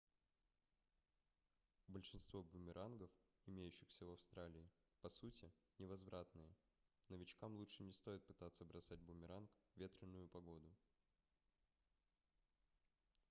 большинство бумерангов имеющихся в австралии по сути невозвратные новичкам лучше не стоит пытаться бросать бумеранг в ветреную погоду